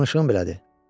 Danışığım belədir.